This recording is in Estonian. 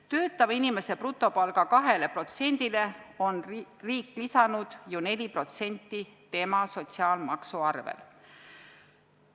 Töötava inimese brutopalgast 2%-le on riik lisanud ju 4% tema sotsiaalmaksu arvelt.